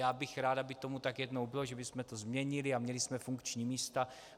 Byl bych rád, aby tomu tak jednou bylo, že bychom to změnili a měli jsme funkční místa.